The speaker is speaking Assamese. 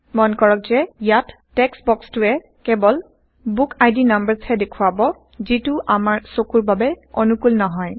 মন কৰক যে ইয়াত টেক্সট বক্সটোয়ে কেৱল বুকআইডি নাম্বাৰচ হে দেখোৱাব যিটো আমাৰ চকুৰ বাবে অনুকূল নহয়